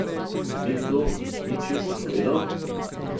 Mi kdo ni česa povedal?